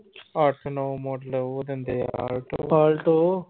ਅੱਠ ਨੌ model ਉਹ ਦਿੰਦੇ ਆਂ।